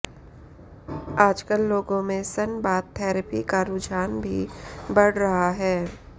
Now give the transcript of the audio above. आजकल लोगों में सन बाथ थैरेपी का रूझान भी बढ़ रहा है